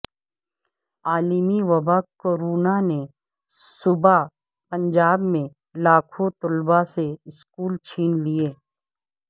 عالمی وبا کورونا نے صوبہ پنجاب میں لاکھوں طلبہ سے سکول چھین لیے